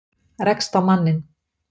Rekst á manninn.